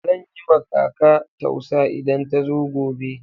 Zan yi ma kaka tausa idan ta zo gobe.